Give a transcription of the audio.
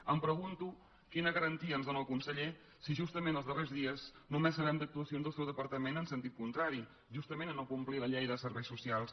em pregunto quina garantia ens en dóna el conseller si justament els darrers dies només sabem d’actuacions del seu departament en sentit contrari justament a no complir la llei de serveis socials